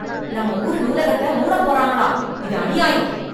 நம்ம ஊரு நூலகத்த மூடப்போறாங்களாம். இது அநியாயம்.